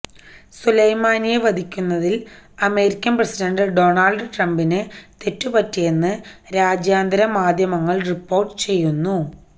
സുലൈമാനിയെ വധിക്കുന്നതിൽ American president Donald ട്രംപിന് തെറ്റുപറ്റിയെന്ന് രാജ്യാന്തര മാധ്യമങ്ങൾ റിപ്പോർട്ട് ചെയ്യുന്നു